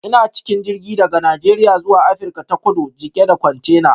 Ina cikin jirgi daga Najeriya zuwa Afirka ta Kudu cike da kwantena.